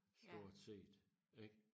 Stort set ik